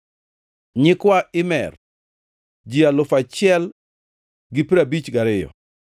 nyikwa Imer, ji alufu achiel gi piero abich gariyo (1,052),